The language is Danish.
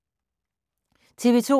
TV 2